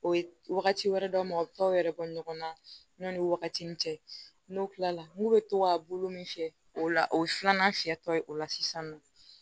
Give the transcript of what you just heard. O ye wagati wɛrɛ dɔ ma o t'aw yɛrɛ bɔ ɲɔgɔn na ɲɔni wagati ni cɛ n'o kilala n'u bɛ to ka bolo min fiyɛ o la o ye filanan fiyɛtɔ ye o la sisan nɔ